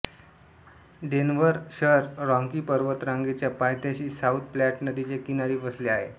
Denver शहर Rocky पर्वतरांगेच्या पायथ्याशी साउथ प्लॅट नदीच्या किनारी वसले आहे